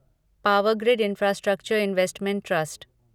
power grid infrastructure investment trust